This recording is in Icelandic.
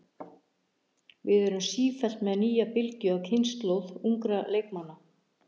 Við erum sífellt með nýja bylgju af kynslóð ungra leikmanna.